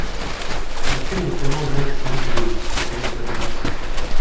включи мне кино ночь в музее секрет гробницы